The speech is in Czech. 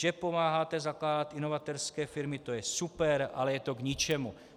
Že pomáháte zakládat inovatérské firmy, to je super, ale je to k ničemu."